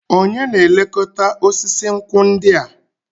Onye na-elekọta osisi nkwụ ndị a?